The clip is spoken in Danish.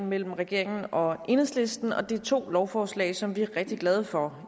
mellem regeringen og enhedslisten og det er to lovforslag som vi er rigtig glade for